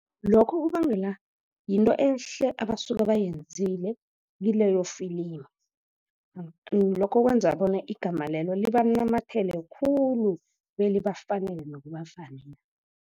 Lokho kubangela yinto ehle abasuka bayenzile kileyo film. Lokho kwenza bona igama lelo liba namathele khulu, belibafanele nokubafanela.